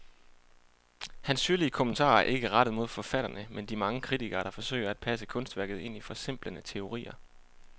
Hans syrlige kommentarer er ikke rettet mod forfatterne, men de mange kritikere, der forsøger at passe kunstværket ind i forsimplende teorier.